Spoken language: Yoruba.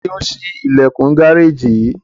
Tani o ṣi ilẹkun gareji yii?